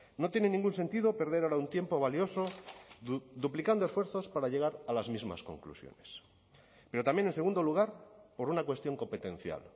no tiene ningún sentido perder ahora un tiempo valioso duplicando esfuerzos para llegar a las mismas conclusiones pero también en segundo lugar por una cuestión competencial